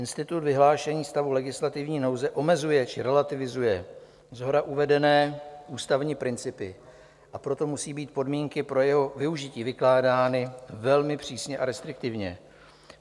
Institut vyhlášení stavu legislativní nouze omezuje či relativizuje shora uvedené ústavní principy, a proto musí být podmínky pro jeho využití vykládány velmi přísně a restriktivně.